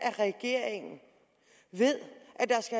af regeringen ved